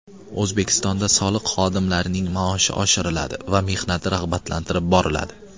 O‘zbekistonda soliq xodimlarining maoshi oshiriladi va mehnati rag‘batlantirib boriladi.